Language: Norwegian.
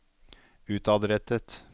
utadrettet